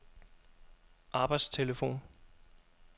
arbejdstelefon